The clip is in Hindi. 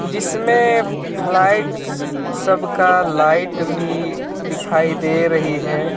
जिसमे फ़लाइट्स स सबका लाइट भी दिखाई दे रही है।